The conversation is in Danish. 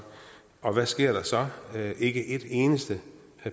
og hvad sker der så ikke et eneste